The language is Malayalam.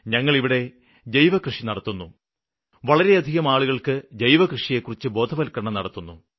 ഞങ്ങള് ഇവിടെ ജൈവകൃഷി നടത്തുന്നു വളരെ അധികം ആളുകള്ക്ക് ജൈവകൃഷിയെക്കുറിച്ച് ബോധവല്ക്കരണവും നടത്തുന്നു